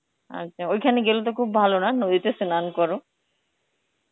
আচ্ছা ওইখানে গেলে তো খুব ভালো না, নদীতে স্নান করো?